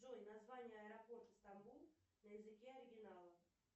джой название аэропорта стамбул на языке оригинала